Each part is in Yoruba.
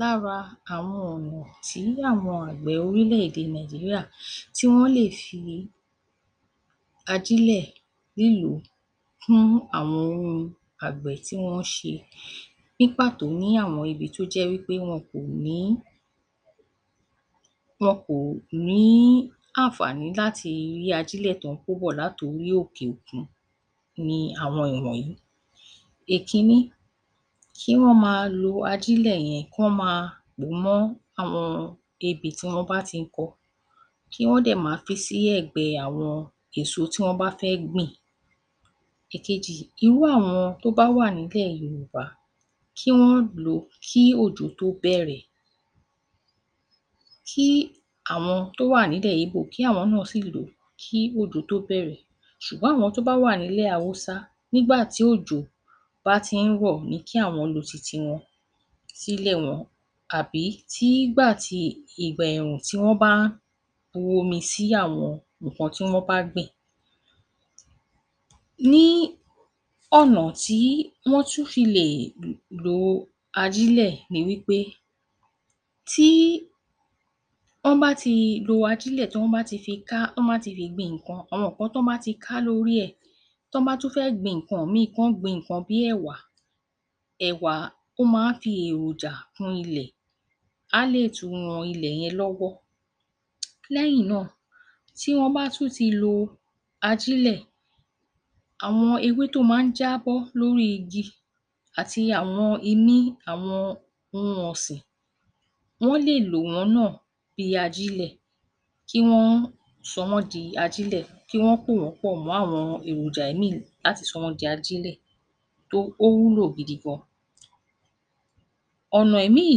Lára àwọn ọ̀nà tí àwọn àgbẹ̀ orílẹ̀-èdè Nàìjíríà tí wọ́n lè fi àjílẹ̀ nílùú kún àwọn ohun àgbẹ̀ tí wọ́n ṣe, ní pàtó ní àwọn ibi tó jẹ́ wí pẹ́ wọn kò ní, wọn kò ní àǹfàní láti rí ajílẹ̀ tọ́n kó bọ̀ látorí òkè-òkun ni àwọn ìwọ̀nyí; Èkíní, kí wọ́n ma lo ajílẹ̀ yẹn kí wọ́n máa pò ó mọ́ àwọn ebè tí wọ́n bá ti kọ kí wọ́n dẹ̀ ma fi sí ẹ̀gbẹ́ àwọn èso tí wọ́n bá fẹ́ gbìn. Èkejì, irú àwọn tó bá wà ní ilẹ̀ Yorùbá, kí wọ́n lò ó kí òjò tó bẹ̀rẹ̀ kí àwọn tó wà ní ilẹ̀ Yíbò kí àwọn náà sì lò ó kí òjò tó bẹ̀rẹ̀, ṣùgbọ́n àwọn tó bá wà ní ilẹ̀ Awúsá nígbà tí òjò bá tí ń rọ̀ ni kí àwọn lo titi wọn sílẹ̀ wọn àbí tí ìgbà tí, ìgbà ẹ̀rùn tí wọ́n bá ń wo omi sí àwọn nǹkan tí wọ́n bá gbìn. Ní ọ̀nà tí wọ́n tún fi lè lo ajílẹ̀ ni wí pé; tí wọ́n bá ti lo ajílẹ̀ tí wọ́n bá ti fi ká tí wọ́n bá ti fi gbin nǹkan, àwọn nǹkan tọ́n bá ti ká lórí ẹ̀, tí wọ́n bá tún fẹ́ gbin nǹkan ìmíì kí wọ́n gbin nǹkan bí ẹ̀wà, ẹ̀wà ó máa ń fi èròjà kún ilẹ̀, á lè tún ran ilẹ̀ yẹn lọ́wọ́. Lẹ́yìn náà, tí wọ́n bá tún ti lo ajílẹ̀, àwọn ewé tó máa ń jábọ́ lóri igi àti àwọn imí àwọn ohun ọ̀sìn, wọ́n lè lò wọ́n náà bí ajílẹ̀ kí wọ́n sọ wọ́n di ajílẹ̀, kí wọ́n pò wọ́n pọ̀ mọ́ àwọn èròjà ìmíì láti sọ wọ́n di ajílẹ̀ tó ó wúlò gidi gan. Ọ̀nà ìmíì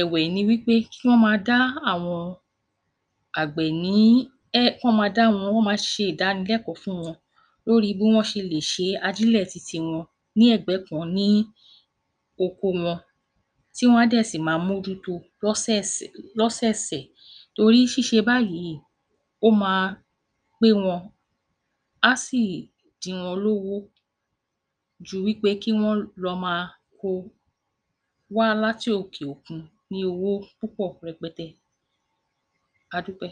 ẹ̀wẹ̀ ni wí pé kí wọ́n ma dá àwọn àgbè ní, ẹ́, kí wọ́n ma dá wọn, kí wọ́n ma ṣe ìdánilẹ́kọ̀ọ́ fún wọn bí wọ́n ṣe lè ṣe ajílẹ̀ titi wọn ní ẹ̀gbẹ́ kan ní oko wọn tí wọ́n á dẹ̀ sì máa mójúto lósẹsẹ lọ́sẹ̀sẹ̀ torí ṣíṣe báyìí ó ma pé wọn á sì dín wọn lówó ju wí pé kí wọ́n lọ ma ko wá láti òkè òkun ní owó púpọ̀ rẹpẹtẹ. Adúpẹ́